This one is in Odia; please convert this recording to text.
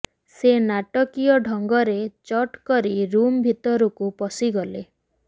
ସେ ନାଟକୀୟ ଢଙ୍ଗରେ ଚଟ୍ କରି ରୁମ୍ ଭିତରକୁ ପଶିଗଲେ